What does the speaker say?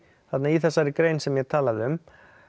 þarna í þessari grein sem ég talaði um